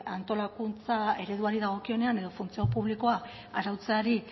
bai antolakuntza ereduari dagokionean edo funtzio publikoa arautzeari